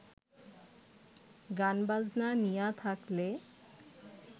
গান বাজনা নিয়া থাকলে